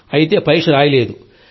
అయితే పరీక్ష రాయలేదు సార్